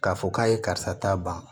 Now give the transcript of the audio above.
K'a fɔ k'a ye karisa ta ban